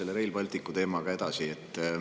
Läheme selle Rail Balticu teemaga edasi.